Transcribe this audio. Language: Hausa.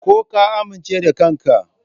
Ko ka amince da kanka?